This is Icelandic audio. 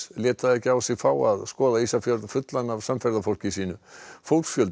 lét það ekki á sig fá að skoða Ísafjörð fullan af samferðafólki sínu fólksfjöldi